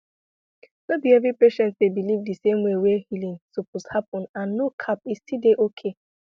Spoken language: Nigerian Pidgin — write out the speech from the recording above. no be every patient dey believe di same way wey healing suppose happen and no cap e still dey okay